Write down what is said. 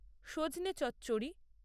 সজনে চচ্চড়ি